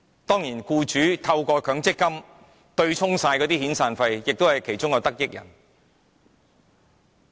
當然，僱主透過強積金對沖遣散費也是其中的得益人。